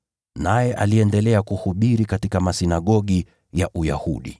Naye aliendelea kuhubiri katika masinagogi ya Uyahudi.